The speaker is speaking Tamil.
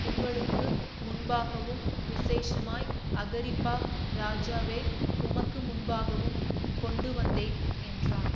உங்களுக்கு முன்பாகவும் விசேஷமாய் அகிரிப்பா ராஜாவே உமக்குமுன்பாகவும் கொண்டுவந்தேன் என்றான்